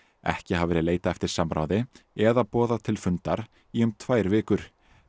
ekki hafi verið leitað eftir samráði eða boðað til fundar í um tvær vikur